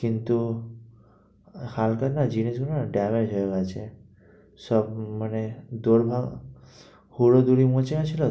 কিন্তু, হালকা না জিনিস গুলো না damage হয়ে গেছে। সব মানে দরমা,